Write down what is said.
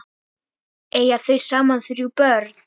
Eiga þau saman þrjú börn.